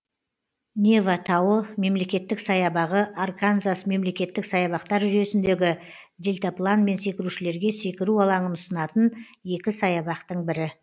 нево тауы мемлекеттік саябағы арканзас мемлекеттік саябақтар жүйесіндегі дельтапланмен секірушілерге секіру алаңын ұсынатын екі саябақтың бірі